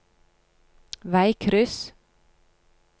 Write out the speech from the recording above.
veikryss